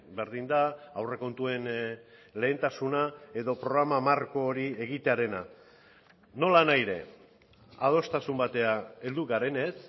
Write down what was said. berdin da aurrekontuen lehentasuna edo programa marko hori egitearena nolanahi ere adostasun batera heldu garenez